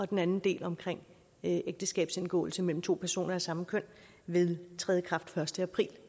den anden del omkring ægteskabsindgåelse mellem to personer af samme køn vil træde i kraft den første april